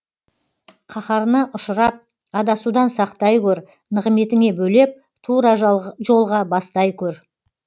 қаһарына ұшырап адасудан сақтай көр нығметіңе бөлеп тура жолға бастай көр